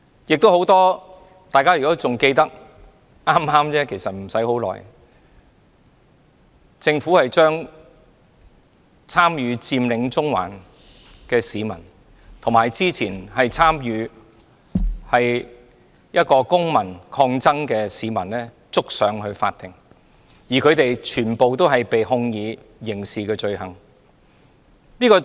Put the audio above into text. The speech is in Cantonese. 如果大家仍記得，不久前政府將參與"佔領中環"的市民，以及一名之前參與公民抗爭的市民提告至法庭，他們全部被控以刑事罪行。